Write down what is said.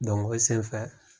o senfɛ